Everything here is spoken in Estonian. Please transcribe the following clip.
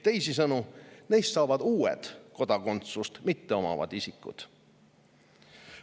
Teisisõnu, neist saavad uued kodakondsust mitteomavad isikud.